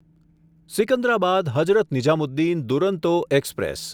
Secunderabad Hazrat Nizamuddin Duronto express